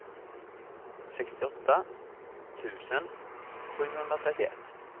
sextioåtta tusen sjuhundratrettioett